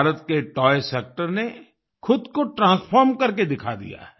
भारत के toy sector ने खुद को ट्रांसफार्म करके दिखा दिया है